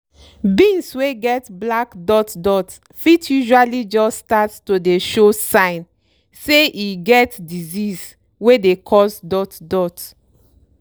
beans wey get black dot dot fit usually jus start to dey show sign say e get disease wey dey cause dot dot.